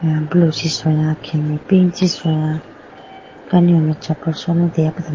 Khege blue chi sola khege pink chi sola kanihone choppol sone degapodomo.